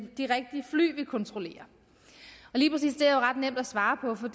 de rigtige fly vi kontrollerer lige præcis det er ret nemt at svare på for